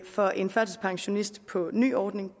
for en førtidspensionist på ny ordning